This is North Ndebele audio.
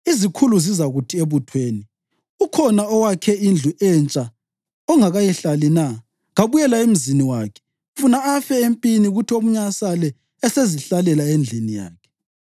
Izikhulu zizakuthi ebuthweni: ‘Ukhona owakhe indlu entsha ongakayihlali na? Kabuyele emzini wakhe, funa afe empini kuthi omunye asale esezihlalela endlini yakhe.